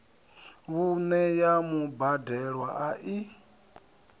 vhuṋe ya mubadelwa a i